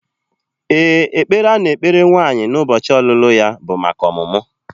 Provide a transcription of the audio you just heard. Ee, ekpere a na-ekpere nwaanyị n'ụbọchị ọlụlụ ya bụ maka ọmụmụ